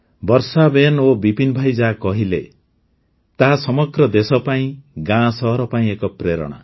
ବର୍ଷାବେନ ଓ ବିପିନ ଭାଇ ଯାହା କହିଲେ ତାହା ସମଗ୍ର ଦେଶ ପାଇଁ ଗାଁସହର ପାଇଁ ଏକ ପ୍ରେରଣା